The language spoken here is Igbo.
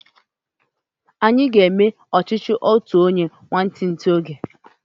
Anyi aga eme ọchichi otu onye nwantinti oge?